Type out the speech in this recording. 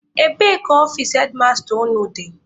Ebee ka ọfici hedmasta unu dị?